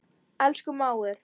Elsku mágur.